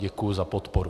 Děkuji za podporu.